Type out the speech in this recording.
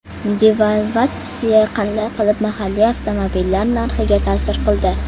Devalvatsiya qanday qilib mahalliy avtomobillar narxiga taʼsir qildi?